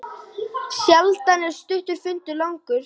Sjaldan er stuttur fundur langur.